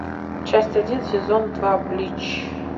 часть один сезон два блич